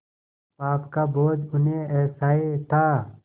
पाप का बोझ उन्हें असह्य था